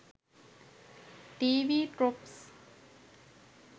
tv tropes